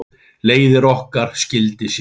Leiðir okkar skildi síðan.